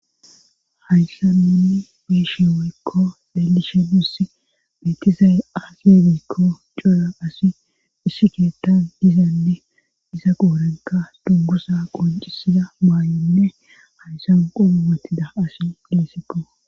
hayssan nuni beyishe woykko xelishe nussi betizay aze gikko cora asi issi keettan dizanne diza qoorenka dungguza qoncisiza maayoyinne hayssan qobe watida asi dessiko